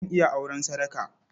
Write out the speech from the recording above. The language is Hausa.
Zan iya auren sadaka.